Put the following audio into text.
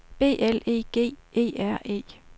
B L E G E R E